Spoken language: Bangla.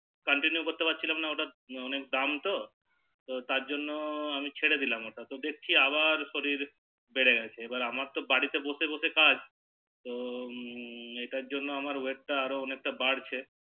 Continue করতে পারছিলাম না তো কেনো কি ওটার অনেক দাম তো তারজন্য আমি ছেড়েদিলাম ওটা তো দেখছি আবার শরীর বেড়ে গেছে এবার তো আমার বাড়িতে বসে বসে কাজ তো এটার জন্য আমার Wait টা আরো বাড়ছে